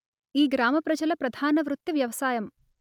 ఈ గ్రామ ప్రజల ప్రధాన వృత్తి వ్యవసాయం